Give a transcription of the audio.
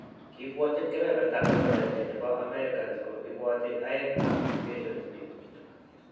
Kibwotyin kepeperta 11% che po Americans ko iboti aeng'ap mutation ni.